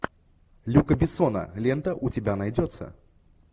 люка бессона лента у тебя найдется